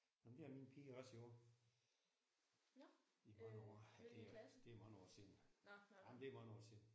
Nåh men det har min pige også jo. I mange år ja det det er mange år siden jamen det er mange år siden